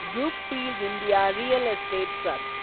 Brookfield India real estate trust